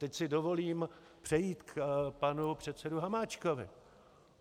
Teď si dovolím přejít k panu předsedovi Hamáčkovi.